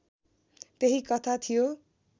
त्यही कथा थियो